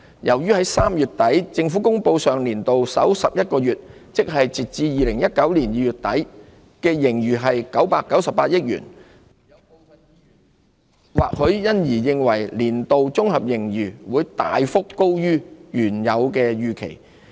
由於3月底政府公布上年度首11個月，即截至2019年2月底的盈餘為998億元，或許因而予人年度綜合盈餘會大幅高於原有預期之感。